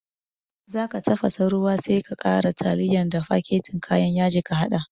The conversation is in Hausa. Zaka tafasa ruwa sai ka ƙara tiliya da faketin kayan yaji ka haɗa